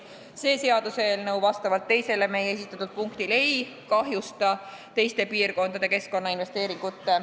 Vastavalt meie esitatud eelnõu § 1 punktile 2 ei kahjustata teiste piirkondade keskkonnainvesteeringuid.